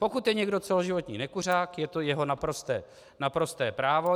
Pokud je někdo celoživotní nekuřák, je to jeho naprosté právo.